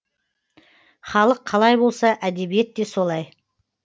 халық қалай болса әдебиет те солай